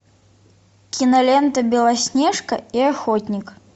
кинолента белоснежка и охотник